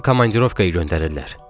Məni komandirovkaya göndərirlər.